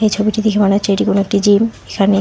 ছবিটি দেখে মনে হচ্ছে এটি কোনো একটি জিম এখানে--।